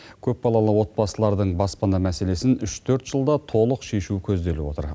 көпбалалы отбасылардың баспана мәселесін үш төрт жылда толық шешу көзделіп отыр